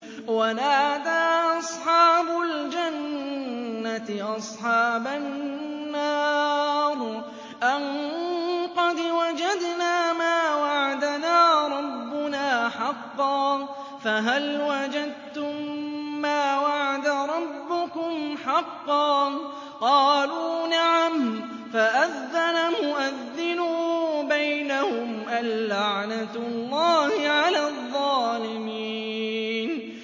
وَنَادَىٰ أَصْحَابُ الْجَنَّةِ أَصْحَابَ النَّارِ أَن قَدْ وَجَدْنَا مَا وَعَدَنَا رَبُّنَا حَقًّا فَهَلْ وَجَدتُّم مَّا وَعَدَ رَبُّكُمْ حَقًّا ۖ قَالُوا نَعَمْ ۚ فَأَذَّنَ مُؤَذِّنٌ بَيْنَهُمْ أَن لَّعْنَةُ اللَّهِ عَلَى الظَّالِمِينَ